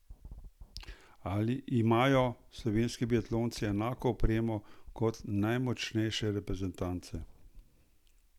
Imajo slovenski biatlonci enako opremo kot najmočnejše reprezentance?